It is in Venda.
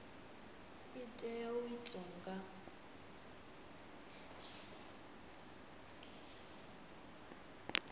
i tea u itwa nga